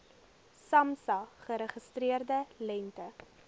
samsa geregistreerde lengte